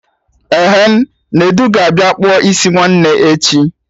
Ehen, Nedu ga-abịa kpụọ isi nwanne echi